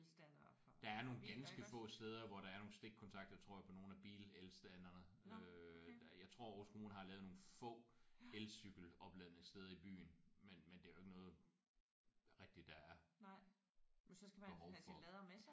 Der er nogle ganske få steder hvor der er nogle stikkontakter tror jeg på nogle af bilelstanderne der øh. Jeg tror Aarhus kommune har lavet nogle få elcykelopladningssteder i byen men det er ikke noget der rigtigt er behov for